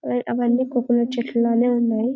ఆ అవనీ కోకోనట్ చెట్లులానే ఉన్నాయి.